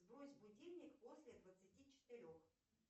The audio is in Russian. сбрось будильник после двадцати четырех